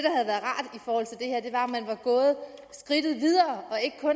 for at man var gået skridtet videre